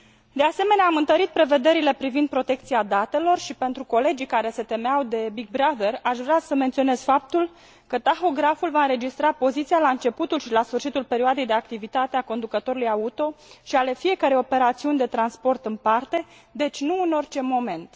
De asemenea, am întărit prevederile privind protecția datelor și, pentru colegii care se temeau de Big Brother, aș vrea să menționez faptul că tahograful va înregistra poziția la începutul și la sfârșitul perioadei de activitate a conducătorului auto și ale fiecărei operațiuni de transport în parte, deci nu în orice moment.